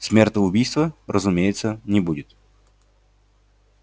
смертоубийства разумеется не будет